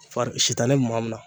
Fari sitanɛ bɛ maa min na.